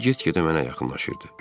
O get-gedə mənə yaxınlaşırdı.